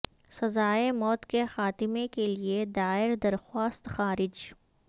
سزائے موت کے خاتمے کے لیے دائر درخواست خارج